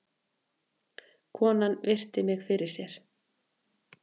Konan virti mig fyrir sér.